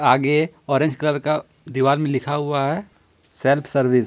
आगे orange colour का दीवार में लिखा हुआ है सेल्फ सर्विस ।